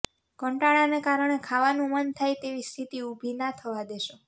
કંટાળાને કારણે ખાવાનું મન થાય તેવી સ્થિતિ ઊભી ના થવા દેશો